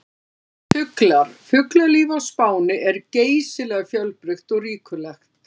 Fuglar: Fuglalíf á Spáni er geysilega fjölbreytt og ríkulegt.